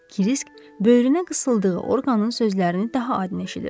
Krisk böyrünə qısıldığı orqanın sözlərini daha aydın eşidirdi.